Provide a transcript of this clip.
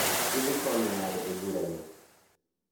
Idhi konyo nade e bura ni?